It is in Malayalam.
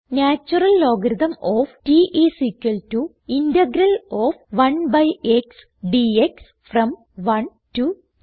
natural logarithm of t is equal to integral of 1 by x dx from 1 to T